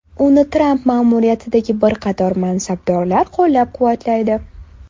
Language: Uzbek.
Uni Tramp ma’muriyatidagi bir qator mansabdorlar qo‘llab-quvvatlaydi.